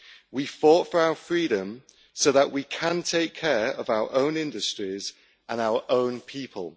We fought for our freedom so that we can take care of our own industries and our own people.